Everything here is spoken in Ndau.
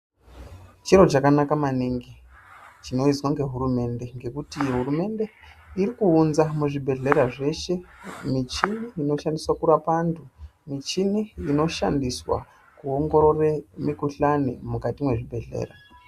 Chiro chakanaka maningi, chinoizwa ngehurumende ngekuti hurumende iri kuunza muzvibhehlera zveshe, michini inoshandiswa kurapa anthu, michini inoshandiswa kuongorore mikhuhlani mukati mezvibhehlera.